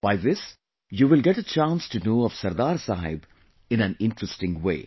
By this you will get a chance to know of Sardar Saheb in an interesting way